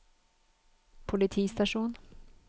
politistasjon